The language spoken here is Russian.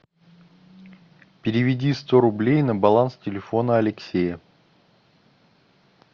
переведи сто рублей на баланс телефона алексея